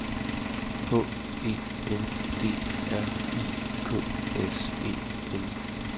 H E N D R I K S E N